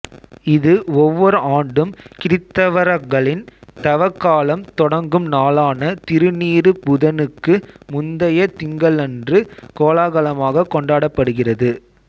இது ஒவ்வோர் ஆண்டும் கிறித்தவரகளின் தவக் காலம் தொடங்கும் நாளான திருநீறுப் புதனுக்கு முந்தைய திங்களன்று கோலாகலமாகக் கொண்டாடப்படுகிறது